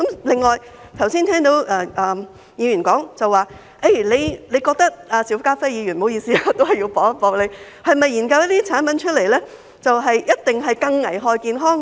另外，我剛才聽到議員說——邵家輝議員，不好意思，我要反駁他——你是否認為研究這些產品出來，就一定會更危害健康呢？